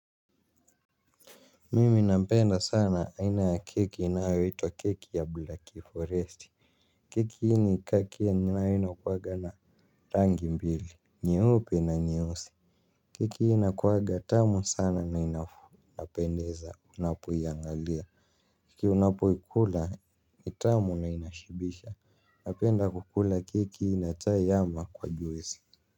Mimi nabenda sana aina ya keki inayo itwa keki ya black forest. Keki hii ni kaki yenye nayo inakuwaga na rangi mbili nyeupe na nyeusi. Keki hii inakuaga tamu sana na inapendeza unapo iangalia. Keki unapo ikula ni tamu na inashibisha. Napenda kukula keki hii na chai ama kwa juesi. Kwa hivyo.